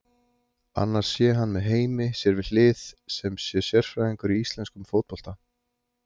Annars sé hann með Heimi sér við hlið sem sé sérfræðingur í íslenskum fótbolta.